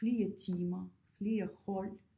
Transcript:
Flere timer flere hold